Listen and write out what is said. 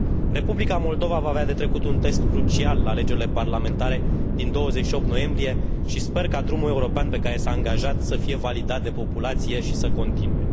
Republica Moldova va avea de trecut un test crucial la alegerile parlamentare din 28 noiembrie și sper că drumul european pe care s a angajat să fie validat de populație și să continue.